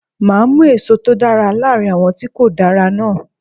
Máa mú èso tó dára láàrin àwọn tí kò dára náà.